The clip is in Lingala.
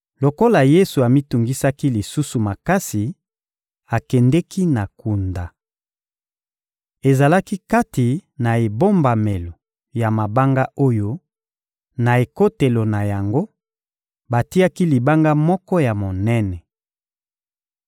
Lokola Yesu amitungisaki lisusu makasi, akendeki na kunda. Ezalaki kati na ebombamelo ya mabanga oyo, na ekotelo na yango, batiaki libanga moko ya monene.